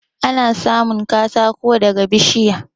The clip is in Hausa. Ana samun katako daga bishiya